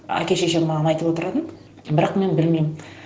әке шешем маған айтып отыратын бірақ мен білмеймін